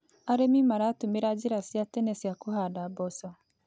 Arĩmi maratũmĩra njĩra cia tene cia kũhanda mboco.